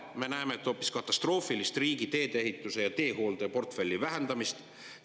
Me näeme hoopis riigi teedeehitus‑ ja teehooldeportfelli katastroofilist vähendamist.